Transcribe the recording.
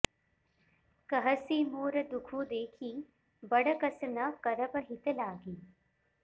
कहसि मोर दुखु देखि बड़ कस न करब हित लागि